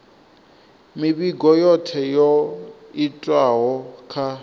mivhigo yothe yo itwaho kha